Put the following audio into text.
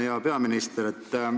Hea peaminister!